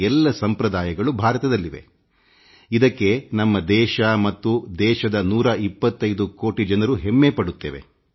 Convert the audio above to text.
ಎಲ್ಲ ಸಮುದಾಯದ ಜನರು ಮತ್ತು ನಂಬಿಕೆ ಇಲ್ಲಿದ್ದು ಭಾರತ ಮತ್ತು ದೇಶದ 125 ಕೋಟಿ ಜನರೂ ಇದಕ್ಕೆ ಹೆಮ್ಮೆಪಡುತ್ತೇವೆ